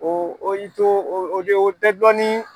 O o y'i to o tɛ o tɛ o tɛ dɔnni